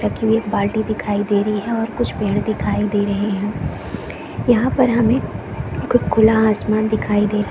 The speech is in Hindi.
रखी हुई एक बाल्टी दिखाई दे रही है और कुछ पेड़ दिखाई दे रही है यहाँ पर हमें कह खुला आसमान दिखाई दे रही है।